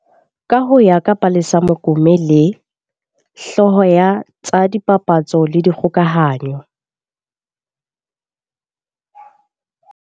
Ka ho ya ka Palesa Mokome le, hlooho ya tsa dipapatso le dikgokahanyo.